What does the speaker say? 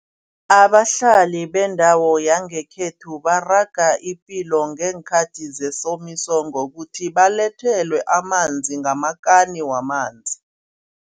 Abahlali bendawo yangekhethu baraga ipilo ngeenkhathi zesomiso ngokuthi babalethelwe amanzi ngamakani wamanzi.